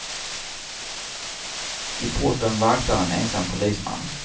I porten vaktar en ensam polisman.